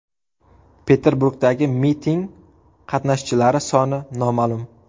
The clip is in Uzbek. Peterburgdagi miting qatnashchilari soni noma’lum.